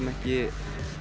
ekki